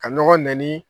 Ka ɲɔgɔn nɛni